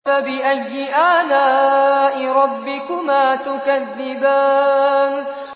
فَبِأَيِّ آلَاءِ رَبِّكُمَا تُكَذِّبَانِ